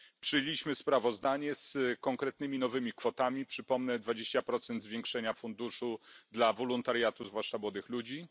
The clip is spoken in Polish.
Przyjęliśmy sprawozdanie z konkretnymi nowymi kwotami, przypomnę dwadzieścia procent zwiększenia funduszu dla wolontariatu zwłaszcza młodych ludzi.